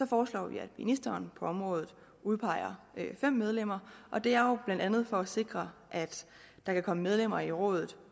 foreslår vi at ministeren på området udpeger fem medlemmer og det er jo blandt andet for at sikre at der kan komme medlemmer i rådet